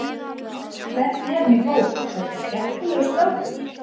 Hvernig er hann í hóp, er þetta skemmtilegur strákur?